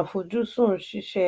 àfujúsùn ṣíṣe